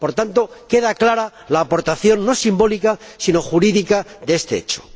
Por tanto, queda clara la aportación no simbólica, sino jurídica, de este hecho.